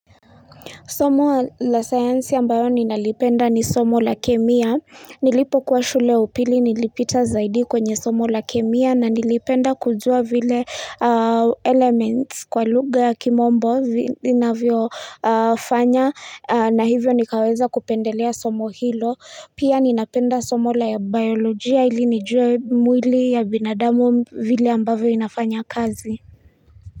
Somo la sayansi ambayo ninalipenda ni somo la kemia. Nilipokuwa shule ya upili nilipita zaidi kwenye somo la kemia na nilipenda kujua vile elements kwa lugha ya kimombo vinavyofanya na hivyo nikaweza kupendelea somo hilo. Pia ninapenda somo la biolojia ili nijue mwili ya binadamu vile ambayo inafanya kazi.